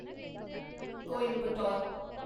Coimbatore